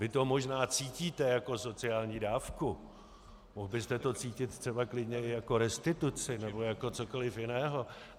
Vy to možná cítíte jako sociální dávku, mohl byste to cítit třeba klidně i jako restituci nebo jako cokoli jiného.